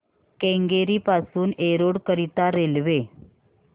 केंगेरी पासून एरोड करीता रेल्वे